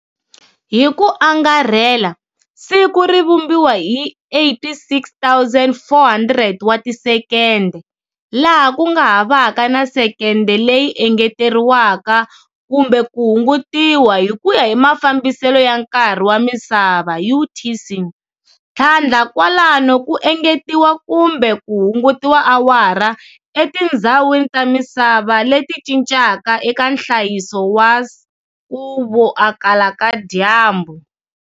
Hi ku angarhela, siku ri vumbiwa hi 86,400 wa tisekende, laha ku nga havaka na sekende leyi engeteriwaka kumbe ku hungutiwa hi kuya hi mafambisele ya nkarhi wa misava, UTC, thlandla kwalano ku engetiwa kumbe ku hungutiwa awara etindhzawini ta misava leti cincaka eka nhlayiso wa kuvoakala ka dyambu.